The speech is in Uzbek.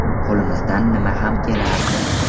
Qo‘limizdan nima ham kelardi.